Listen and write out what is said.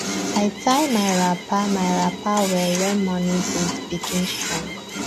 i tie my wrapper my wrapper well when morning breeze begin strong